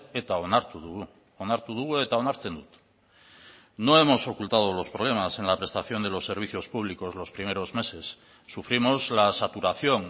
eta onartu dugu onartu dugu eta onartzen dut no hemos ocultado los problemas en la prestación de los servicios públicos los primeros meses sufrimos la saturación